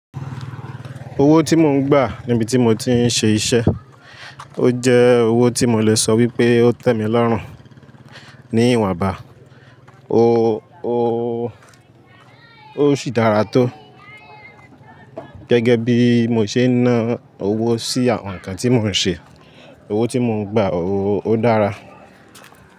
Owó tí mò ń gbà níbi tí mo ti ń ṣe iṣẹ́, ó jẹ́ owó tí mo lè sọ wípé ó tẹ́ mi lọ́rùn ní ìwọ̀n bá, ó, ó, ó sì dára tó. Gẹ́gẹ́ bí mo ṣe ń ná owó sí àwọn nǹkan tí mò ń ṣe, owó tí mò ń gbà ó odára.